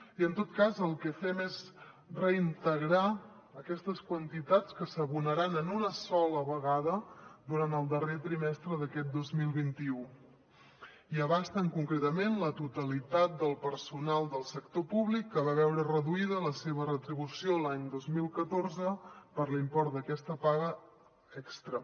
i en tot cas el que fem és reintegrar aquestes quantitats que s’abonaran en una sola vegada durant el darrer trimestre d’aquest dos mil vint u i abasten concretament la totalitat del personal del sector públic que va veure reduïda la seva retribució l’any dos mil catorze per l’import d’aquesta paga extra